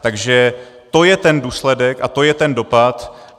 Takže to je ten důsledek a to je ten dopad.